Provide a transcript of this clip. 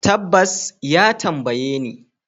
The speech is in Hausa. Tabbas, ya tambaye ni.